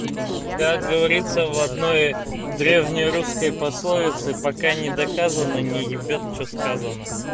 как говорится в одной древней русской пословице пока не доказано не ебёт что сказано